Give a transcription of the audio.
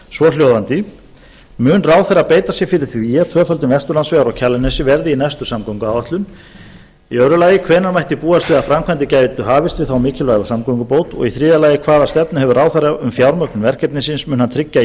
svohljóðandi fyrstu mun ráðherra beita sér fyrir því að tvöföldun vesturlandsvegar á kjalarnesi verði í næstu samgönguáætlun annars hvenær mætti búast við að framkvæmdir gætu hafist við þá mikilvægu samgöngubót þriðja hvaða stefnu hefur ráðherra um fjármögnun verkefnisins mun hann tryggja